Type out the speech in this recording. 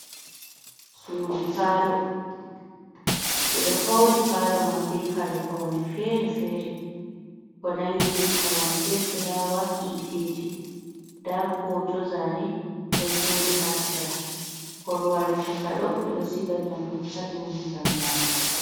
Suudo palo, beɗo palo man be kari faune fere-fere, ko nangi be koramje, fulawa, hiteji. Nda hoto zane don jodi ha sera. Korwal chakado be do siga nyamdu ha dau man gam nyamuki.